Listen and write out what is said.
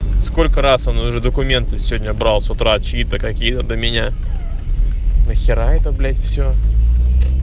сколько раз он уже документы сегодня брал с утра чьи это какие-то меня нахера это блять всё